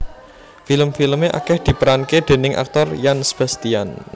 Film filme akeh diperanke déning aktor Yan Sebastian